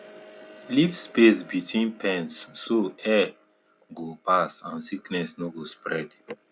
leave space between pens so air go pass and sickness no go spread